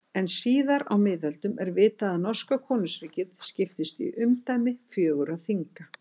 En síðar á miðöldum er vitað að norska konungsríkið skiptist í umdæmi fjögurra þinga.